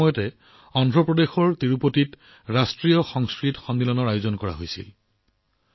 একে সময়তে অন্ধ্ৰপ্ৰদেশৰ তিৰুপতিত ৰাষ্ট্ৰীয় সংস্কৃত সন্মিলনৰ আয়োজন কৰা হৈছিল